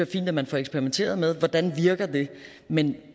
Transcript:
fint at man får eksperimenteret med hvordan det virker men